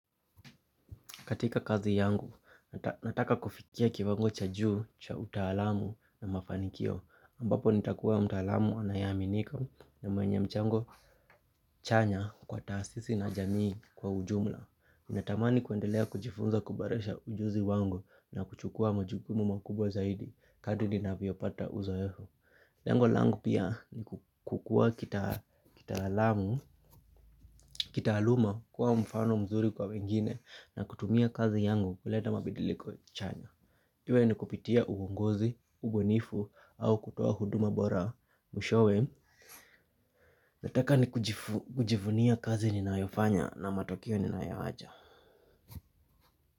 Katika kazi yangu, nataka kufikia kiwango cha juu, cha utalamu na mafanikio. Ambapo nitakuwa mtaalamu anayeaminika na mwenye mchango chanya kwa taasisi na jamii kwa ujumla. Natamani kuendelea kujifunza kuboresha ujuzi wangu na kuchukua majukumu makubwa zaidi. Kadri ninavyopata uzoefu. Lengu langu pia ni kukua kitaalamu, kitaaluma kuwa mfano mzuri kwa wengine na kutumia kazi yangu kuleta mabadiliko chanya. Iwe ni kupitia uongozi, ubunifu au kutoa huduma bora mwishowe. Nataka ni kujivunia kazi ninayofanya na matokeo ninayoacha.